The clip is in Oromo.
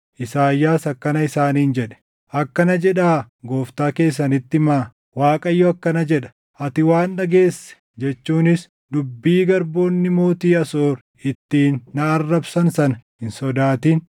Isaayyaas akkana isaaniin jedhe; “Akkana jedhaa gooftaa keessanitti himaa; ‘ Waaqayyo akkana jedha: Ati waan dhageesse jechuunis dubbii garboonni mootii Asoor ittiin na arrabsan sana hin sodaatin.